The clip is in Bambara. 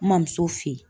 N ma muso fe ye